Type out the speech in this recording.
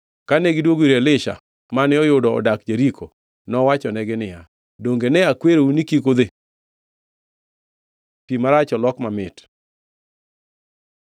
Kane gidwogo ir Elisha mane oyudo odak Jeriko, nowachonegi niya, “Donge ne akwerou ni kik udhi?” Pi marach olok mamit